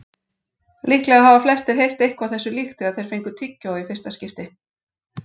Líklega hafa flestir heyrt eitthvað þessu líkt þegar þeir fengu tyggjó í fyrsta skipti.